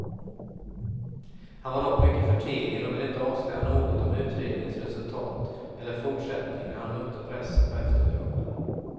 Han var dock mycket förtegen och ville inte avslöja något om utredningens resultat eller fortsättning när han mötte pressen på eftermiddagen.